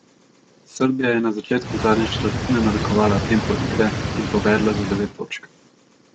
Srbija je na začetku zadnje četrtine narekovala tempo igre in povedla za devet točk.